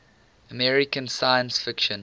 american science fiction